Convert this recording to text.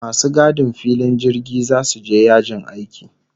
Masu gadin filin jirgi zasu je yajin aiki